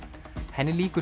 henni lýkur